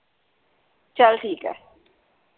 ਚੱਲ ਠੀਕ ਹੈ